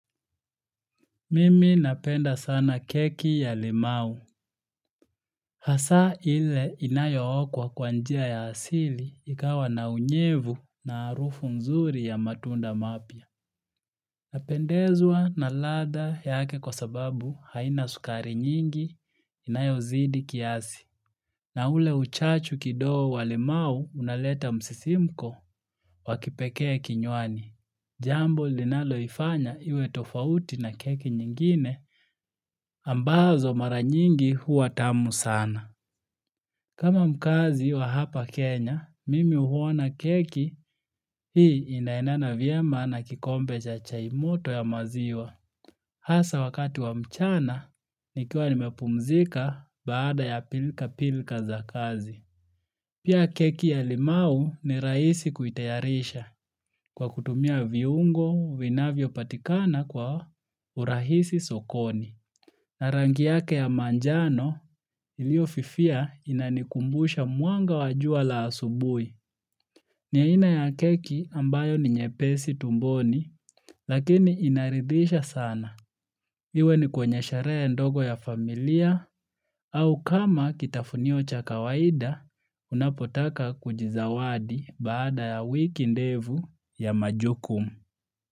Mimi napenda sana keki ya limau. Hasa ile inayo okwa kwa njia ya asili ikawa na unyevu na harufu nzuri ya matunda mapya. Napendezwa na ladha yake kwa sababu haina sukari nyingi inayo zidi kiasi. Na ule uchachu kidogo wa limau unaleta msisimko wakipekee kinyuani. Jambo linalo ifanya iwe tofauti na keki nyingine, ambazo mara nyingi huwa tamu sana. Kama mkaazi wa hapa Kenya, mimi huona keki hii inaendana vyema na kikombe cha chaimoto ya maziwa. Hasa wakati wa mchana, nikiwa nimepumzika baada ya pilka pilka za kazi. Pia keki ya limau ni rahisi kuitayarisha kwa kutumia viungo, vinavyo patikana kwa urahisi sokoni. Narangi yake ya manjano ilio fifia inanikumbusha mwanga wajua la asubui. Ni aina ya keki ambayo ni nyepesi tumboni lakini inaridhisha sana. Iwe ni kwenye sheree ndogo ya familia au kama kitafunio cha kawaida unapotaka kujizawadi baada ya wiki ndefu ya majukumu.